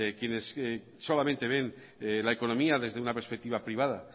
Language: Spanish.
quienes solamente ven la economía desde una perspectiva privada